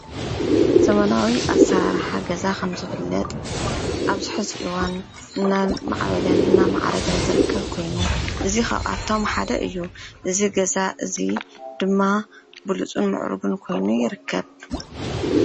ዘመናዊ ኣሰራርሓ ገዛ ከም ዝፍለጥ ኣብዚ ሕዚ እዋን እናማዕበለን እናማዕረገን ዝርከብ ኮይኑ እዚ ካዓ ካብኣቶም ሓደ እዩ። እዚ ገዛ እዙይ ድማ ብሉፅን ምዕሩግን ኮይኑ ይርከብ።